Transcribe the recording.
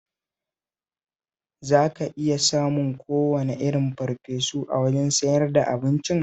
Za ka iya samun kowane irin farfesu a wajen sayar da abincin